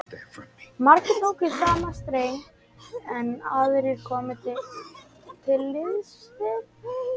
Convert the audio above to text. Margir tóku í sama streng, en aðrir komu til liðs við